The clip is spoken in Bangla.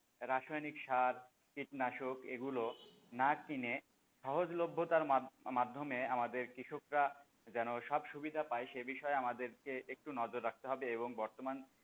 রাসায়নিক সার, কীটনাশক এগুলো না কিনে সহজলভ্যতার মাধ্যমে আমাদের কৃষকরা যেন সব সুবিধা পায় সে বিষয়ে আমাদেরকে একটু নজর রাখতে হবে এবং বর্তমান,